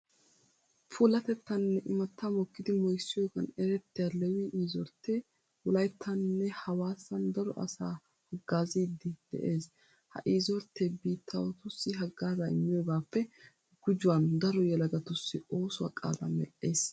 Puulatettaaninne imattaa mokkidi moyssiyigan erettiya leewii iriizorttee wolayttaaninne hawaasan daro asaa haggaaziiddi de'ees. Ha iriizorttee biittaawatussi haggaazaa immiyogaappe gujuwan daro yelagatussi oosuwa qaadaa medhdhiis.